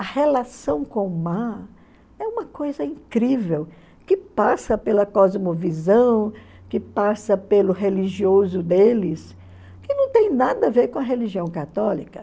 A relação com o mar é uma coisa incrível, que passa pela cosmovisão, que passa pelo religioso deles, que não tem nada a ver com a religião católica.